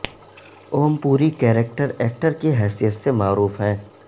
Om Puri character actor کی حیثیت سے معروف ہیں